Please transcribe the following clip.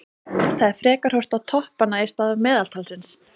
Það er frekar horft á toppanna í stað meðaltalsins.